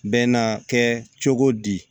Bɛ n'a kɛ cogo di